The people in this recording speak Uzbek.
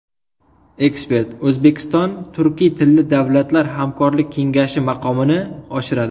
Ekspert: O‘zbekiston Turkiy tilli davlatlar hamkorlik kengashi maqomini oshiradi.